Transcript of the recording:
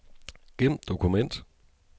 Gem dokument.